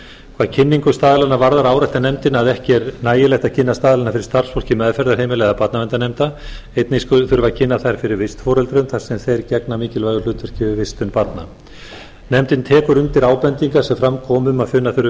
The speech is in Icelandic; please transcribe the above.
hvað kynningu staðlanna varðar áréttar nefndin að ekki er nægilegt að kynna staðlana fyrir starfsfólki meðferðarheimila og barnaverndarnefnda einnig þurfi að kynna þá fyrir vistforeldrum þar sem þeir gegna mikilvægu hlutverki við vistun barna nefndir tekur undir ábendingar sem fram komu um að finna þurfi